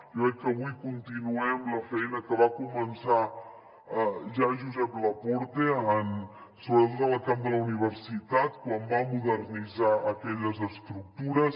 jo crec que avui continuem la feina que va començar ja josep laporte sobretot en el camp de la universitat quan va modernitzar aquelles estructures